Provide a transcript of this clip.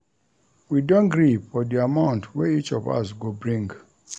We don gree for di amount wey each of us go bring.